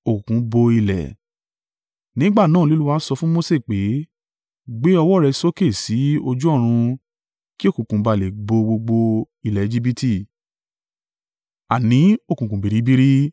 Nígbà náà ni Olúwa sọ fún Mose pé, “Gbé ọwọ́ rẹ sókè sí ojú ọ̀run kí òkùnkùn bá à le bo gbogbo ilẹ̀ Ejibiti; àní òkùnkùn biribiri.”